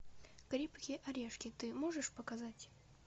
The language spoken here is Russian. крепкие орешки ты можешь показать